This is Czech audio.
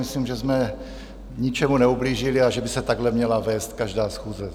Myslím, že jsme ničemu neublížili a že by se takhle měla vést každá schůze.